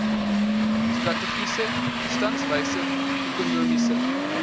strategiese stadswye ekonomiese